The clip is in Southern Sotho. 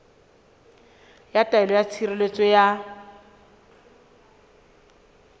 ya taelo ya tshireletso ya